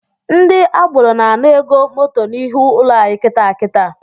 Ndi agboro na-ana ego moto n’ihi ụlọ anyị kịtaa kitaa